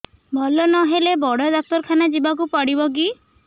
ଭଲ ନହେଲେ ବଡ ଡାକ୍ତର ଖାନା ଯିବା କୁ ପଡିବକି